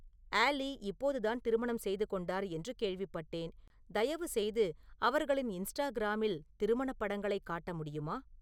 ஆலி இப்போதுதான் திருமணம் செய்துகொண்டார் என்று கேள்விப்பட்டேன் தயவுசெய்து அவர்களின் இன்ஸ்டாகிராமில் திருமணப் படங்களைக் காட்ட முடியுமா